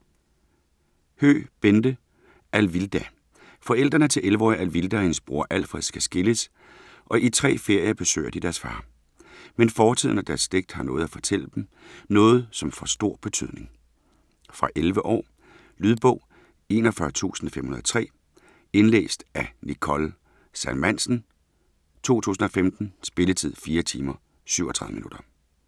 Høegh, Bente: Alvilda Forældrene til 11-årige Alvilda og hendes lillebror Alfred skal skilles, og i tre ferier besøger de deres far. Men fortiden og deres slægt har noget at fortælle dem, noget som får stor betydning. Fra 11 år. Lydbog 41503 Indlæst af Nicole Salmansen, 2015. Spilletid: 4 timer, 37 minutter.